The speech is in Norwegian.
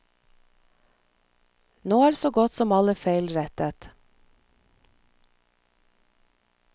Nå er så godt som alle feil rettet.